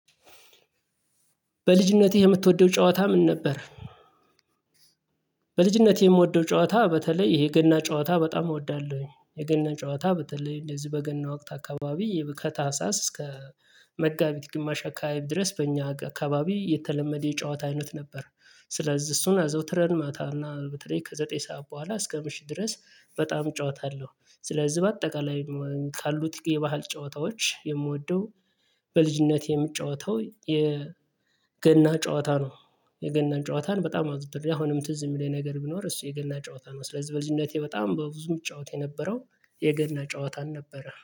በልጅነትህ የምትወደው ጨዋታ ምን ነበር? በልጅነቴ የምወደው ጨዋታ በተለይ ይሄ ገና ጨዋታ በጣም እወዳለሁኝ። የገና ጨዋታ በተለይ እንደዚህ በገና ወቅት አካባቢ ከታህሳስ እስከ መጋቢት ግማሽ አካባቢ ድረስ በእኛ አካባቢ የተለመደ የጨዋታ አይነት ነበር። ስለዚህ እሱን አዘውትረን ማታና በተለይ ከዘጠኝ ሰዓት በኋላ እስከ ምሽት ድረስ በጣም ጨዋታ አለው። ስለዚህ በአጠቃላይ ካሉት የባህል ጨዋታዎች የምወደው በልጅነቴ የምጫወተው የ ገና ጨዋታ ነው። የገና ጨዋታን በጣም አዘውትሬ አሁንም ትዝ የሚለኝ ነገር ቢኖር እሱ የገና ጨዋታ ነው። ስለዚህ በልጅነቴ በጣም በብዙ የምጫወት የነበረው የገና ጨዋታን ነበረ